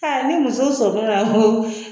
Ɛɛ ni muso